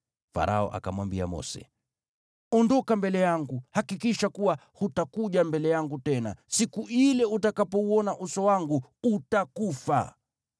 Farao akamwambia Mose, “Ondoka mbele yangu! Hakikisha kuwa hutakuja mbele yangu tena! Siku ile utakapouona uso wangu utakufa.”